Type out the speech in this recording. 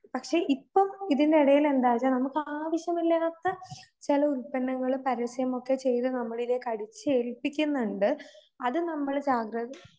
പക്ഷെ ഇപ്പം ഇതിന്റിടയില് എന്താച്ച നമുക്ക് ആവശ്യമില്ലാത്ത ചില ഉൽപ്പന്നങ്ങള് പരസ്യമൊക്കെ ചെയ്ത് അടിച്ചേൽപ്പിക്കുന്നുണ്ട്. അത് നമ്മള്